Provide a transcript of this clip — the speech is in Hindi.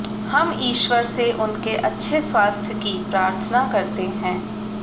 हम ईश्वर से उनके अच्छे स्वास्थ्य की प्रार्थना करते हैं